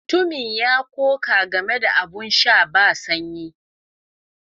Mutumin ya koka game da abin sha ba sanyi.